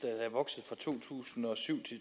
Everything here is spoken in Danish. er vokset fra to tusind og syv